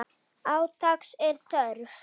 Átaks er þörf.